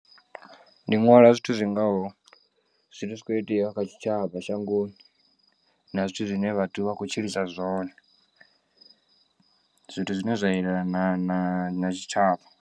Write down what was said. Ndi nwala zwithu zwingaho zwithu zwi kho iteaho kha tshitshavha shangoni na zwithu zwine vhathu vha khou tshilisa zwone zwithu zwine zwa elana na na na tshitshavha.